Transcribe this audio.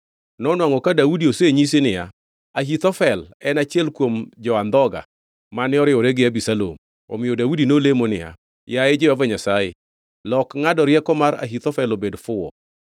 Nonwangʼo ka Daudi osenyisi niya, “Ahithofel en achiel kuom jo-andhoga mane oriwore gi Abisalom.” Omiyo Daudi nolemo niya, “Yaye Jehova Nyasaye, lok ngʼado rieko mar Ahithofel obed fuwo.”